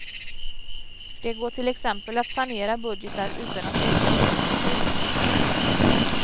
Det går till exempel att sanera budgetar utan att öka orättvisor.